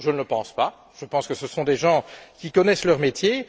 Je ne le crois pas. Je pense que ce sont des gens qui connaissent leur métier.